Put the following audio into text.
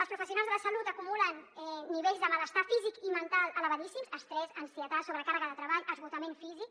els professionals de la salut acumulen nivells de malestar físic i mental elevadíssims estrès ansietat sobrecàrrega de treball esgotament físic